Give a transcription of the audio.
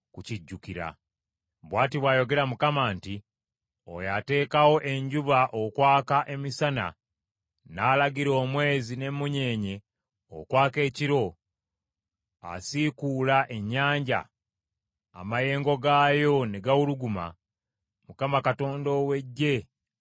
Bw’ati bw’ayogera Mukama nti, Oyo ateekawo enjuba okwaka emisana, n’alagira omwezi n’emmunyeenye okwaka ekiro, asiikuula ennyanja amayengo gaayo ne gawuluguma; Mukama Katonda ow’Eggye lye linnya lye.